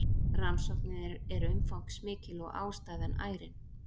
Rannsóknin er umfangsmikil og ástæðan ærin